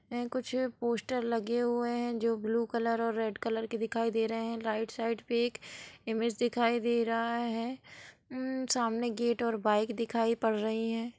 यह कुछ पोस्टर लगे हुए हैं जो ब्लू कलर और रेड कलर के दिखाई दे रहे हैं| राइट साइड पे एक इमेज दिखाई दे रहा है| हम्म-सामने गेट और बाइक दिखाई पड़ रही है।